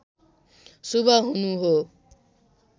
शुभ हुनु हो